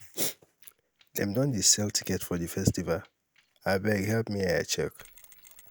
dem don dey sell ticket for di festival? abeg help me um check.